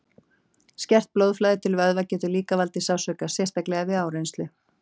Skert blóðflæði til vöðva getur líka valdið sársauka, sérstaklega við áreynslu.